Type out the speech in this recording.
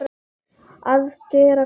Að gera hvað?